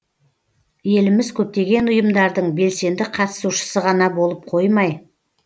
еліміз көптеген ұйымдардың белсенді қатысушысы ғана болып қоймай